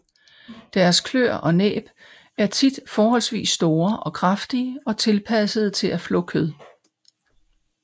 Deres kløer og næb er tit forholdsvis store og kraftige og tilpassede til at flå kød